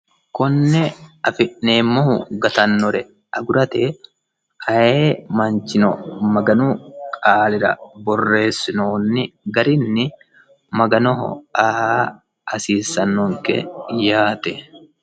Konne afi'neemmohu gatannore agurate ayee manichino maganu qaalira borreessinoyi garinni maganoho aa hasiissanonke yaate.